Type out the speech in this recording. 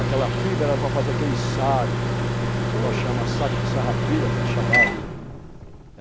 Aquela fibra era para fazer aquele saco, que nós chamamos de saco de sarrapilha, que a gente chamava.